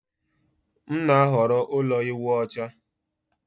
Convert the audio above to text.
M na-ahọrọ ụlọ ịwụ ọcha